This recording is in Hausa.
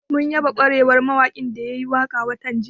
Mun yaba ƙwarewar mawaƙin da ya yi waƙa watan jiya